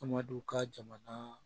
Faamaduw ka jamana